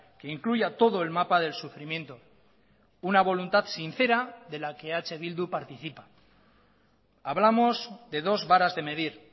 que incluya todo el mapa del sufrimiento una voluntad sincera de la que eh bildu participa hablamos de dos varas de medir